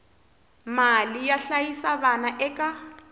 mali yo hlayisa vana eka